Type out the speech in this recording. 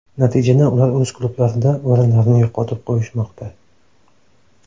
Natijada ular o‘z klublarida o‘rinlarni yo‘qotib qo‘yishmoqda.